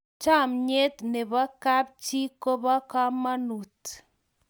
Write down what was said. chamiet nebo kap chii kobo kamangut